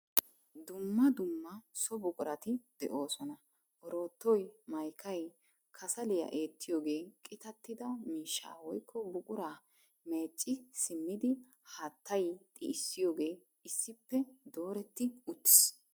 Dumma dumma so buqurati de'oosona. Oroottoy, mayikay, kasaliya eettiyogee, qitattida miishshaa woyikko buquraa meecci simmidi haattay xi'issiyogee issippe dooretti uttis.